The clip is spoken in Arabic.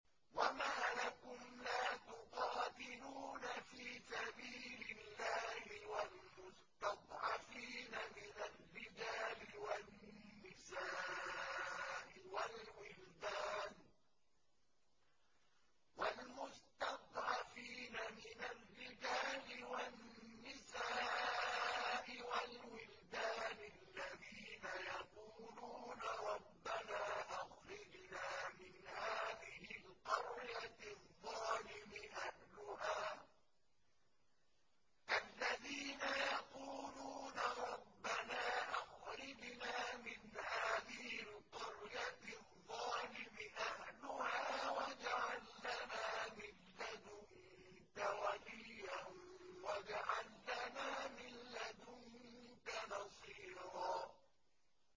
وَمَا لَكُمْ لَا تُقَاتِلُونَ فِي سَبِيلِ اللَّهِ وَالْمُسْتَضْعَفِينَ مِنَ الرِّجَالِ وَالنِّسَاءِ وَالْوِلْدَانِ الَّذِينَ يَقُولُونَ رَبَّنَا أَخْرِجْنَا مِنْ هَٰذِهِ الْقَرْيَةِ الظَّالِمِ أَهْلُهَا وَاجْعَل لَّنَا مِن لَّدُنكَ وَلِيًّا وَاجْعَل لَّنَا مِن لَّدُنكَ نَصِيرًا